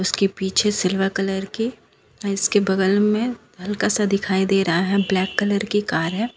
के पीछे silver colour की और इसके बगल में हल्का सा दिखाई दे रहा है ब्लैक कलर की कार है।